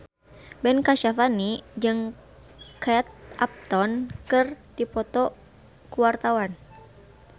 Ben Kasyafani jeung Kate Upton keur dipoto ku wartawan